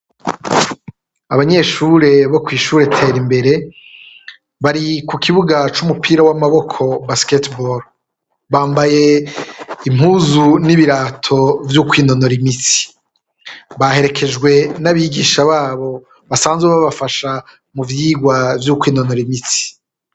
Abanyeshure bo kw’ishure Terimbere bari ku kibuga c’umupira w’amaboko (basketball), bambaye impuzu n’ibirato vyokwinonora imitsi. Baherekejwe n’abigisha babo basanzwe babafasha mu vyirwa vyo kwinonora imitsi.